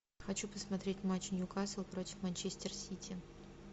хочу посмотреть матч ньюкасл против манчестер сити